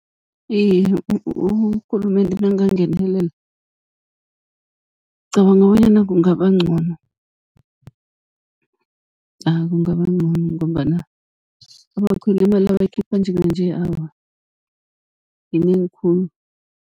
Iye, urhulumende nangangenelela, ngicabanga bonyana kungaba ncono ah kungaba ncono, ngombana abakhweli imali abayikhipha njenganje awa yinengi khulu.